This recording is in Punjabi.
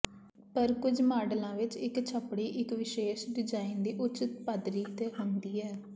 ਪਰ ਕੁਝ ਮਾਡਲਾਂ ਵਿਚ ਇਕ ਛੱਪੜੀ ਇਕ ਵਿਸ਼ੇਸ਼ ਡਿਜ਼ਾਇਨ ਦੀ ਉੱਚ ਪੱਧਰੀ ਤੇ ਹੁੰਦੀ ਹੈ